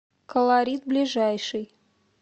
колорит ближайший